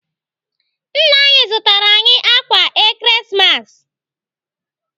Nna anyị zụtara anyị ákwà Ekeresimesi.